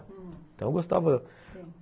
Hum... Então eu gostava,